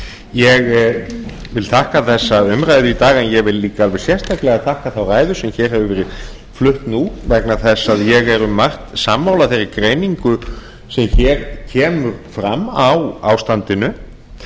ég vil þakka þessa umræðu í dag en ég vil líka alveg sérstaklega þakka þá ræðu sem hér hefur verið flutt nú vegna þess að ég er um mjög margt sammála þeirri greiningu sem hér kemur fram á ástandinu